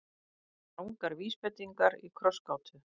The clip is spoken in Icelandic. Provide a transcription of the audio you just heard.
Rangar vísbendingar í krossgátu